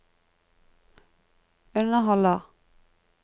underholder